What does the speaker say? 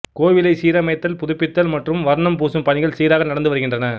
கோவிலை சீரமைத்தல் புதுப்பித்தல் மற்றும் வர்ணம் பூசும் பணிகள் சீராக நடந்து வருகின்றன